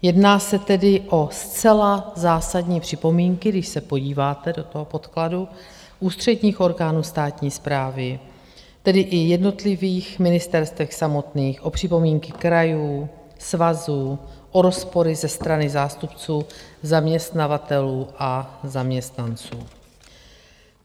Jedná se tedy o zcela zásadní připomínky - když se podíváte do toho podkladu - ústředních orgánů státní správy, tedy i jednotlivých ministerstev samotných, o připomínky krajů, svazů, o rozpory ze strany zástupců zaměstnavatelů a zaměstnanců.